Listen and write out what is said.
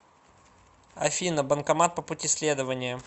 афина банкомат по пути следования